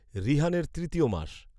ঋহানের তৃতীয় মাস